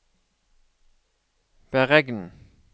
beregn